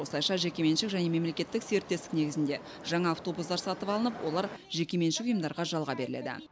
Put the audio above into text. осылайша жекеменшік және мемлекеттік серіктестік негізінде жаңа автобустар сатып алынып олар жекеменшік ұйымдарға жалға беріледі